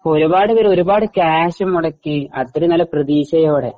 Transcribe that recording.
ഇപ്പോ ഒരുപാട് പേര് ഒരുപാട് കാശ് മുടക്കി അത്രേം നല്ല പ്രതീക്ഷയോടെ